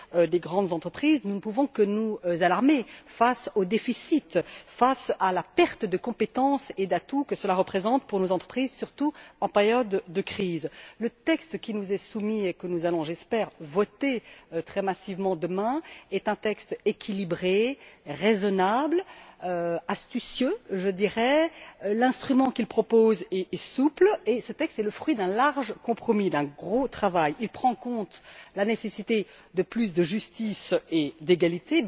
des grandes entreprises, nous ne pouvons que nous alarmer face au déficit et à la perte de compétences et d'atouts que cela représente pour nos entreprises, surtout en période de crise. Le texte qui nous est soumis et que nous allons j'espère voter très massivement demain est un texte équilibré, raisonnable, astucieux, l'instrument qu'il propose est souple et ce texte est le fruit d'un large compromis et d'un grand travail. Il tient évidemment compte de la nécessité de davantage de justice et d'égalité,